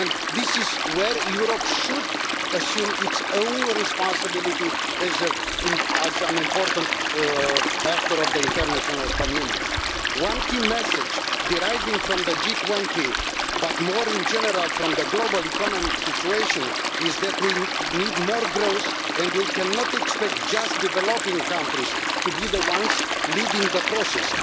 This is where Europe should assume its own responsibility as an important actor in the international community. One key message, deriving from the G20 summit and more generally from the global economic situation, is that we need more growth, and that we cannot expect only developing countries to be the ones leading the process.